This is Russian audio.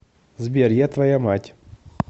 сбер я твоя мать